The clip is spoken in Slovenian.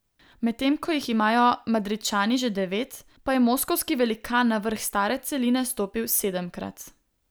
Medtem ko jih imajo Madridčani že devet, pa je moskovski velikan na vrh stare celine stopil sedemkrat.